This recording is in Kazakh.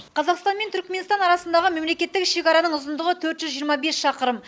қазақстан мен түрікменстан арасындағы мемлекеттік шекараның ұзындығы төрт жүз жиырма бес шақырым